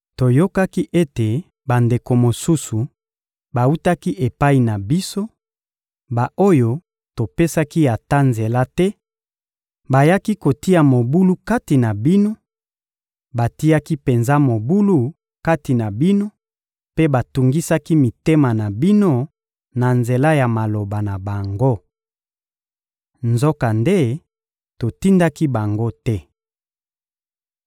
Toyokaki ete bandeko mosusu bawutaki epai na biso, ba-oyo topesaki ata nzela te, bayaki kotia mobulu kati na bino, batiaki penza mobulu kati na bino mpe batungisaki mitema na bino na nzela ya maloba na bango. Nzokande, totindaki bango te.